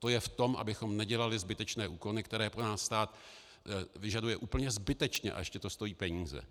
To je v tom, abychom nedělali zbytečné úkony, které po nás stát vyžaduje úplně zbytečně, a ještě to stojí peníze.